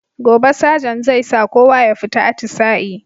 Gobe sajant zai sa kowa ya fita atisa'i